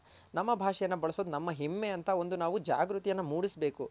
ನಮ್ಮ ಭಾಷೆಯನ್ನ ಬಳ್ಸೋದ್ ನಮ್ಮ ಹೆಮ್ಮೆ ಅಂತ ಒಂದು ನಾವು ಜಾಗೃತಿಯನ್ನ ಮೂಡುಸ್ ಬೇಕು.